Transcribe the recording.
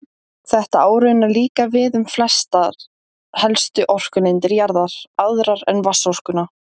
Þetta á raunar líka við um flestar helstu orkulindir jarðar, aðrar en vatnsorkuna.